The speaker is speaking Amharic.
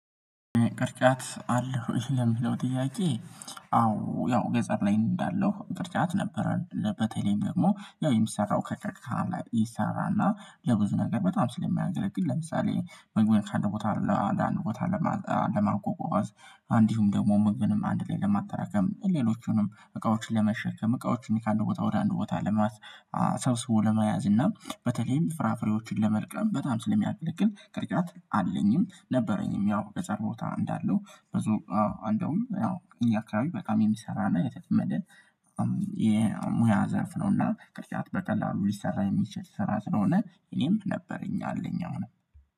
ቅርጫት አለህ ወይ? ለሚለው ጥያቄ አዎ ያው ገጠር ላይ እንዳለው ቅርጫት ነበረን በተለይም ደግሞ ያው የምሰራው ከከክካ ላይ ይሰራልና ለብዙ ነገር በጣም ስለሚያገለግል ለምሳሌ ምግብ ካደረጉት አንድ ቦታ። ለማጎጎዝት አንዲሁም ደግሞ ምግብንም አንድ ላይ ለማጠራቀም ሌሎቹንም እቃዎችን ለመሸከም እቃዎችን እኔ ከአንድ ቦታ ወደ አንድ ቦታ ለማስ ሰብስቦ ለመያዝ እና በተለይም ፍራፍሬዎችን ለመልቀም በጣም ስለሚያገለግል ቅርጫት አለኝም ነበረኝም። ያው ገር ቦታ እንዳለው ብዙ አንደውም እኛ ካባቢ በጣም የሚሰራና የተለመደ የሙያ ዘርፍ ነው። እና ቅርጫት በቀላሉ ሊሰራ የሚችል ስራ ስለሆነ እኔም ነበረኝ አለኝ አሁን